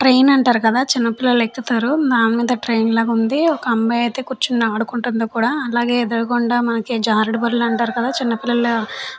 Train అంటారు కదా చిన్న పిల్లలు ఎక్కుతారు. దాని మీద ట్రైన్లో ఉంది. ఒక అమ్మాయి అయితే కూర్చుని ఆడుకుంటుంది కూడా అలాగే ఎదురుగుండా మాకే జారుడుబడులు అంటారు కదా చిన్నపిల్లలు --